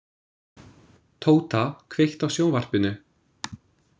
Tóta, kveiktu á sjónvarpinu.